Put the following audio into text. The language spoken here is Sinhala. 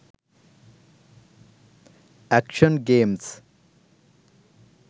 action games